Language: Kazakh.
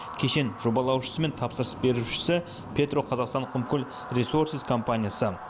кешен жобалаушысы мен тапсырыс берушісі петроқазақстан құмкөл ресорсиз компаниясы